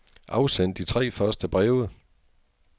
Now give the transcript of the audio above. Afsend de tre første breve.